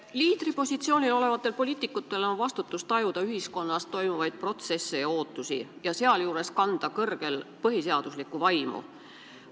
Liidripositsioonil olevatel poliitikutel on vastutus tajuda ühiskonnas olevaid ootusi ja toimuvaid protsesse ja sealjuures hoida kõrgel põhiseaduslikkuse vaimu.